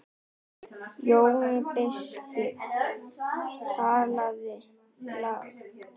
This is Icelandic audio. Jón biskup talaði lágt.